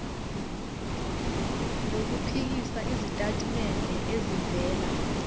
nokuphikisa izitatimende ezivela